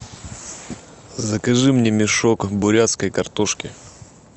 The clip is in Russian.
закажи мне мешок бурятской картошки